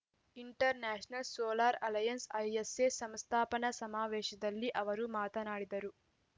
international Solar Alliance ISA ಸಂಸ್ಥಾಪನಾ ಸಮಾವೇಶದಲ್ಲಿ ಅವರು ಮಾತನಾಡಿದರು